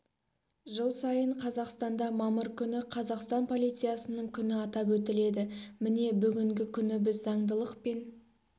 жыл сайын қазақстанда мамыр күні қазақстан полициясының күні атап өтіледі міне бүгінгі күні біз заңдылық пен